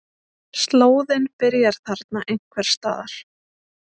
Slóðinn byrjar þarna einhvers staðar.